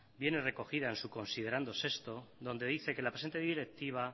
viene recogida en su considerando sexto donde dice que la presente directiva